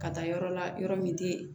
Ka taa yɔrɔ la yɔrɔ min tɛ